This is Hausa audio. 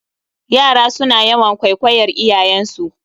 Yara suna yawan kwaikwayar iyayensu